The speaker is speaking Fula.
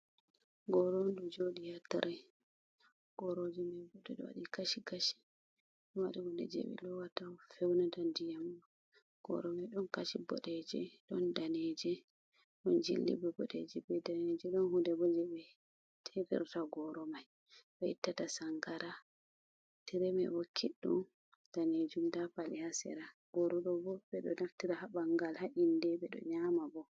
Goro on du joɗi yatare goroji mai ɓurɗo waɗi kashi kashi o wari wude je be lowata feunata diyamma goro mai don kashi boɗeeje don daneje don jilli be bodeje be daneje don hude boje be tefirta goro mai be ittata sangara tre mai bo kiddum danejum dapali hasera gorodo bo bedo naftira habangal ha’inde ɓe do nyama bo.